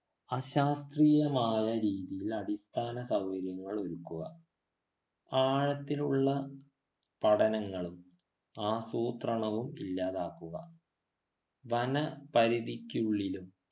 അശാസ്ത്രീയമായ രീതിയിൽ അടിസ്ഥാന സൗകര്യങ്ങൾ ഒരുക്കുക ആഴത്തിലുള്ള പഠനങ്ങളും ആസൂത്രണവും ഇല്ലാതാക്കുക വന പരിതിക്കുള്ളിലും